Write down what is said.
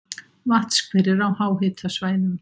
Vatnshverir á háhitasvæðum